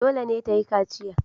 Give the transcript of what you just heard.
Dole ne ta yi kaciya.